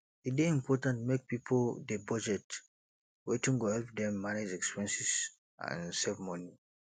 e dey important make pipo dey budget wetin go help dem manage expenses and save money